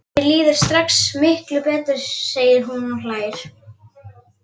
Mér líður strax miklu betur, segir hún og hlær.